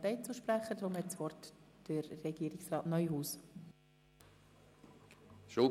Somit erteile ich Regierungsrat Neuhaus das Wort.